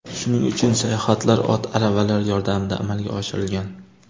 Shuning uchun sayohatlar ot aravalar yordamida amalga oshirilgan.